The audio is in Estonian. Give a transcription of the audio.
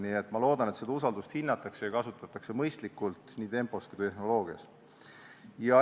Nii et ma loodan, et seda usaldust hinnatakse ja kasutatakse mõistlikult nii tempo kui ka tehnoloogia mõttes.